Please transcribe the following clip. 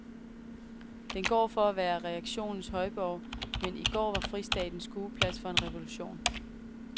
Den går for at være reaktionens højborg, men i går var fristaten skueplads for en revolution.